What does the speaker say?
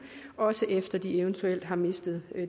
også efter de eventuelt har mistet